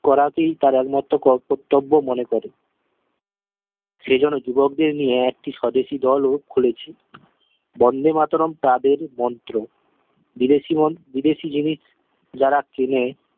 করাতেই তার এক মাত্র কর্তব্য মনে করে সে জন্য যুবক দের নিয়ে একটি স্বদেশি দল ও খুলেছে বন্দেমাতরম্ তাদের মন্ত্র বিদেশি মোন বিদেশি জিনিস যারা কেনে